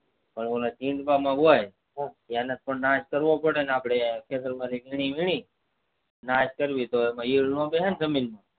પણ ઓલા માં હોય એનો તો નાશ કરવો પડેને વેણી વેણી નાશ કરવી તો ઈયર ન બેસે ને જમીન માં